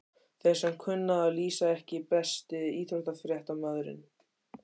Þeir sem kunna að lýsa EKKI besti íþróttafréttamaðurinn?